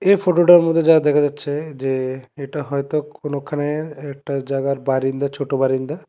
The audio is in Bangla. এ ফটোটার মধ্যে যা দেখা যাচ্ছে যে এটা হয়তো কোনোখানে একটা জায়গার বারিন্দা ছোট বারিন্দা ।